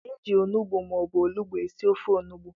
Eji ọnụgbu maọbu ọlugbu esị ofe ọnụgbu.